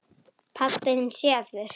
Pabbi þinn sefur.